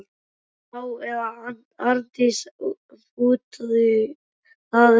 Já- eða Arndís, ef út í það er farið.